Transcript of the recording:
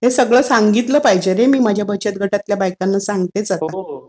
हे सगळं सांगितलं पाहिजे रे मी माझ्या बचत गटातल्या बायकांना. सांगतेच आता.